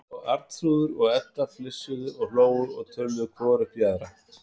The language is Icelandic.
Og Arnþrúður og Edda flissuðu og hlógu og töluðu hvor upp í aðra.